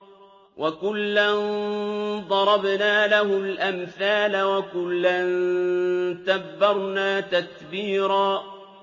وَكُلًّا ضَرَبْنَا لَهُ الْأَمْثَالَ ۖ وَكُلًّا تَبَّرْنَا تَتْبِيرًا